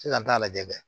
Sisan n t'a lajɛ dɛ